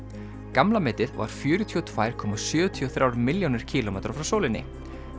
gamla metið var fjörutíu og tvær komma sjötíu og þrjár milljónir kílómetra frá sólinni